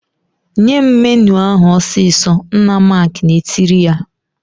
"Nye m menụ ahụ ọsịsọ!" Nna Mark na-etiri ya.